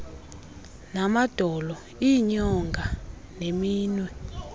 namadolo iinyonga neminwe